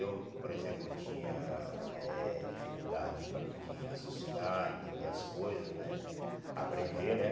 Eu, por exemplo, tinha eh dificuldade para de raciocinar, entender as coisas, né, aprender, né.